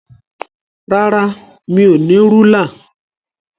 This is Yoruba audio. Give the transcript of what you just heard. Rárá, mi ò ní rúlà.